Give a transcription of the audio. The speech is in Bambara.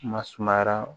Ma sumayara